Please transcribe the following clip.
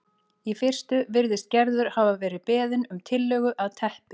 Í fyrstu virðist Gerður hafa verið beðin um tillögu að teppi